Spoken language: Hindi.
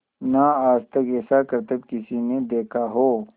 ना आज तक ऐसा करतब किसी ने देखा हो